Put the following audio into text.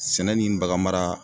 Sɛnɛ ni baganmara